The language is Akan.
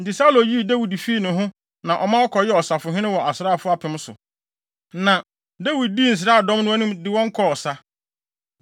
Enti Saulo yii Dawid fii ne ho na ɔma ɔkɔyɛɛ ɔsafohene wɔ asraafo apem so, na, Dawid dii saa nsraadɔm no anim de wɔn kɔɔ ɔsa.